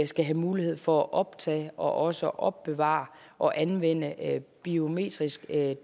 skal have mulighed for at optage og også opbevare og anvende biometrisk